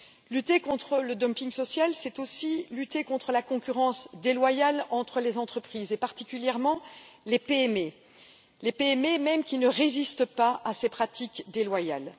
Lutter contre le dumping social, c'est aussi lutter contre la concurrence déloyale entre les entreprises, et particulièrement, les PME, les PME mêmes qui ne résistent pas à ces pratiques déloyales.